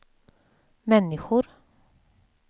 människor